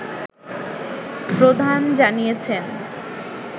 প্রধান জানিয়েছেন